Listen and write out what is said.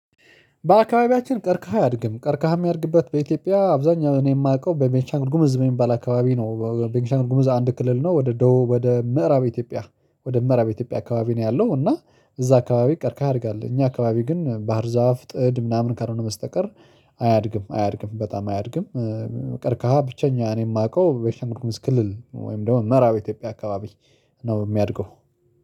በአካባቢያችን ቀርከሃ አያድግም ቀርከሃ የሚያድግበት በኢትዮጵያ አብዛኛው እኔ የማውቀው በቤንሻንጉል ጉሙዝ በሚባል አካባቢ ነው በቤንሻንጉል ጉሙዝ አንድ ክልል ነው ወደ ደቡብ ወደ ምዕራብ ኢትዮጵያ ወደ ምዕራብ ኢትዮጵያ አካባቢ ነው ያለው እና እዛ አካባቢ ቀርከሃ ያድጋል እኛ አካባቢ ግን ባህር ዛፍ ጥድ ምናምን ካልሆነ በስተቀር አያድግም አያድግም በጣም አያድግም። ቀርከሃ ብቸኛ እኔ የማውቀው ቤንሻንጉል ጉሙዝ ክልል ወይም ደግሞ ምዕራብ ኢትዮጵያ አካባቢ ነው የሚያድገው